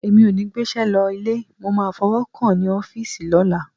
Èmi ò ní gbéṣẹ́ lọ ilé, mo máa fọwọ́ kàn án ní ọ́fíìsì lọ́la.